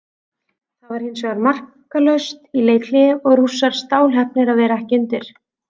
Það var hinsvegar markalaust í leikhléi og Rússar stálheppnir að vera ekki undir.